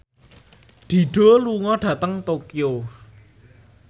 Dido lunga dhateng Tokyo